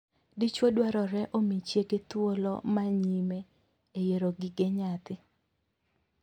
Dichwo dwarore omii chiege thuolo ma nyime e yiero gige nyathi.